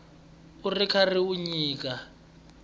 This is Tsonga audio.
u ri karhi u nyika